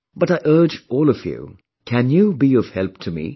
But I urge all of you... can you be of help to me